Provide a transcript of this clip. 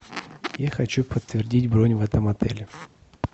я хочу подтвердить бронь в этом отеле